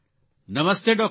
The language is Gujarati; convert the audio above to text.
નમસ્તે ડૉકટર